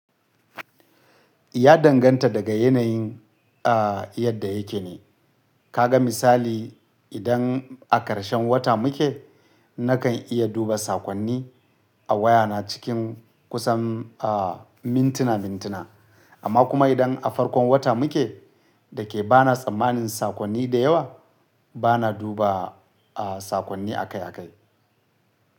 Ya danganta daga yanayin, a yadda yake ne. Kaga misali idan a ƙarshen wata muke nakan iya duba sakonni a wayana cikin kusan, a mintina mintina amma kuma idan a farkon wata muke da ke bana tsammanin sakonni da yawa bana duba, a sakonni akai akai.